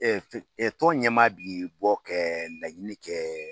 tɔn ɲɛmaa bɛ bɔ kɛ laɲini kɛ